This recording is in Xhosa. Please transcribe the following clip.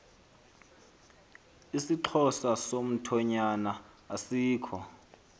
isixhosa somthonyama asikho